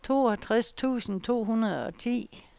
toogtres tusind to hundrede og ti